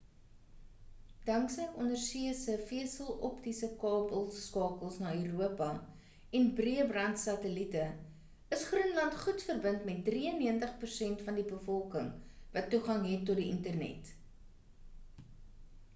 danksy ondersee se veseloptiese kabelskakels na europa en breëband satellite is groenland goed verbind met 93% van die bevolking wat toegang het tot die internet